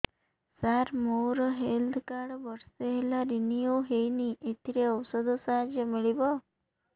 ସାର ମୋର health card ବର୍ଷେ ହେଲା ରିନିଓ ହେଇନି ଏଥିରେ ଔଷଧ ସାହାଯ୍ୟ ମିଳିବ